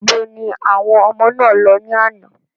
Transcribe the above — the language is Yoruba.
Níbo ni àwọn ọmọ náà lọ ní àná?